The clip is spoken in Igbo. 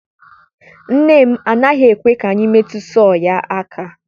nne m anaghị ekwe ka anyị metụ sọọ ya aka.